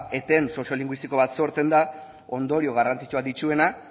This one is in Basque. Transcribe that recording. eten soziolinguistiko bat sortzen da ondorio garrantzitsuak dituena